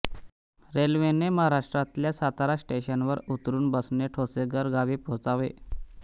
रेल्वेने महाराष्ट्रातल्या सातारा स्टेशनवर उतरून बसने ठोसेघर गांवी पोहोचावे